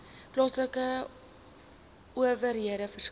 plaaslike owerhede verskaf